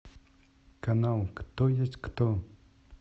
канал кто есть кто